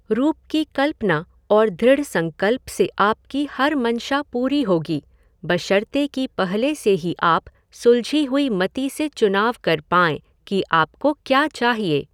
रूप की कल्पना और दृढ़ संकल्प से आपकी हर मंशा पूरी होगी, बशर्ते कि पहले से ही आप सुलझी हुई मति से चुनाव कर पाएँ कि आपको क्या चाहिए।